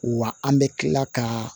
Wa an bɛ tila ka